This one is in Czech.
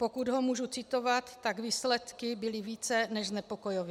Pokud ho můžu citovat, tak výsledky byly více než znepokojivé.